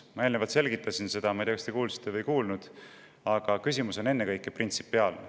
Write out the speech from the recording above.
Ma eelnevalt selgitasin seda – ma ei tea, kas te kuulsite või ei kuulnud –, et küsimus on ennekõike printsipiaalne.